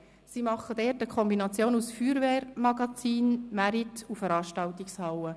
Es befindet sich dort eine Kombination aus Feuerwehrmagazin, Markt- und Veranstaltungshalle.